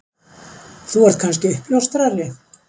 Þú ert kannski uppljóstrari?